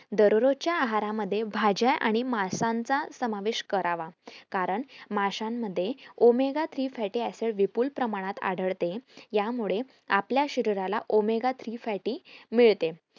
दरोरोच्या आहारामध्ये भाज्या आणि मासांचा समावेश करावा कारण माशांमध्ये omega three fatty acid विपुल प्रमाणात आढळते यामुळे आपल्या शरीराला omega three fatty acid मिळते